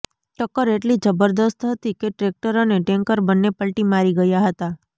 ટક્કર એટલી જબરદસ્ત હતી કે ટ્રેક્ટર અને ટેન્કર બંને પલટી મારી ગયા હતા